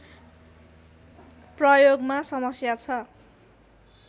प्रयोगमा समस्या छ